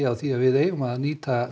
á því að við eigum að nýta